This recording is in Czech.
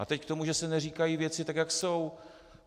A teď k tomu, že se neříkají věci tak, jak jsou.